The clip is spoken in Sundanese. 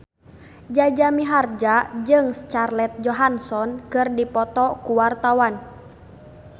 Jaja Mihardja jeung Scarlett Johansson keur dipoto ku wartawan